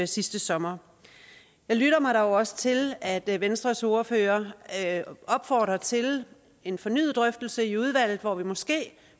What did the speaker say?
sidste sommer jeg lytter mig dog også til at venstres ordfører opfordrer til en fornyet drøftelse i udvalget hvor vi måske